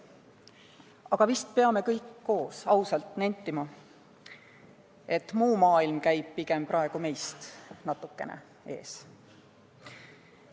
Aga vist peame kõik koos ausalt nentima, et muu maailm käib meist praegu pigem natukene ees.